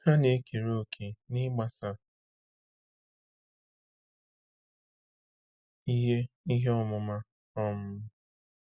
Ha na-ekere òkè n’ịgbasa ihe ihe ọmụma. um